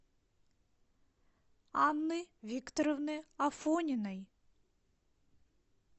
анны викторовны афониной